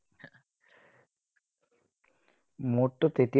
মোৰটো তেতিয়াও